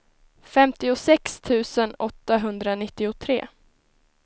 femtiosex tusen åttahundranittiotre